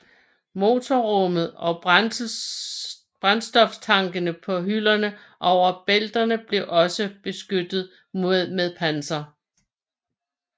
Motorrummet og brændstoftankene på hylderne over bælterne blev også beskyttet med panser